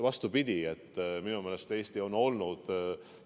Vastupidi, minu meelest Eesti on olnud kogu aeg eesmineja.